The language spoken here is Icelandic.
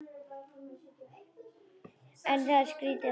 Það er skrýtið að heyra.